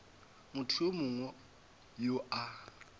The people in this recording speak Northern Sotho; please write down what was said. motho yo mongwe yo a